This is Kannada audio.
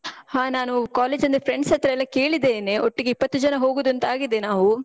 ಹಾ ನಾನು college ನ friends ಹತ್ರ ಎಲ್ಲ ಕೇಳಿದೇನೆ. ಒಟ್ಟಿಗೆ ಇಪ್ಪತ್ತು ಜನ ಹೋಗುದೂಂತ ಆಗಿದೆ ನಾವು.